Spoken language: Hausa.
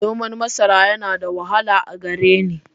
Noman masara yana da wahala a gare ni.